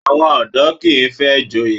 Àwọn ọ̀dọ́ kìí fẹ́ joyè